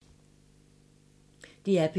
DR P3